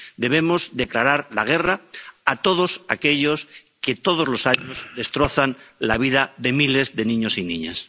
Debemos declarar la guerra a todos aquellos que todos los años destrozan la vida de miles de niños y niñas.